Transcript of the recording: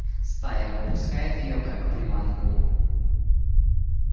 стая выпускает её как приманку